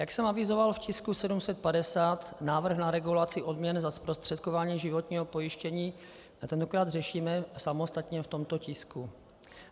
Jak jsem avizoval v tisku 750, návrh na regulaci odměn za zprostředkování životního pojištění tentokrát řešíme samostatně v tomto tisku.